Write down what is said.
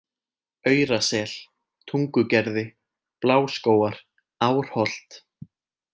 Aurasel, Tungugerði, Bláskógar, Árholt